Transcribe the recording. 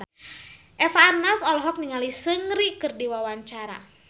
Eva Arnaz olohok ningali Seungri keur diwawancara